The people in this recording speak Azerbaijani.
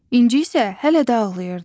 İnci isə hələ də ağlayırdı.